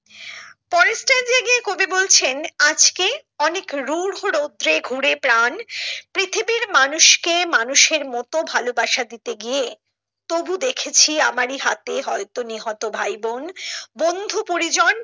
পরের স্টেজে গিয়ে কবি বলছেন আজকে অনেক রূঢ় রৌদ্রে ঘুরে প্রাণ পৃথিবীর মানুষ কে মানুষের মতো ভালোবাসা দিতে গিয়ে তবু দেখেছি আমারি হাতে হয়তো নিহত ভাইবোন বন্ধু পরিজন